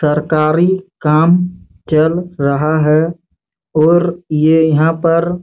सरकारी काम चल रहा है और ये यहाँ पर--